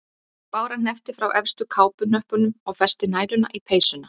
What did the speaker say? Bára hneppti frá efstu kápuhnöppunum og festi næluna í peysuna.